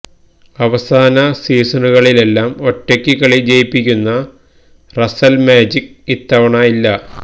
അവസാന സീസണുകളിലെല്ലാം ഒറ്റയ്ക്ക് കളി ജയിപ്പിക്കുന്ന റസല് മാജിക്ക് ഇത്തവണ ഇല്ല